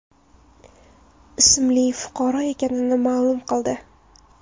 ismli fuqaro ekanini ma’lum qildi.